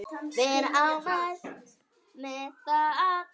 Vera ánægð með það.